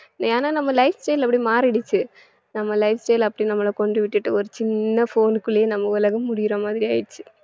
ஏன்னா நம்ம lifestyle அப்படி மாறிடுச்சு நம்ம lifestyle அப்படி நம்மள கொண்டு விட்டுட்டு ஒரு சின்ன phone குள்ளயே நம்ம உலகம் முடியிற மாதிரி ஆயிடுச்சு